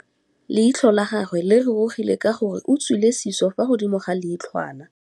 Leitlhô la gagwe le rurugile ka gore o tswile sisô fa godimo ga leitlhwana.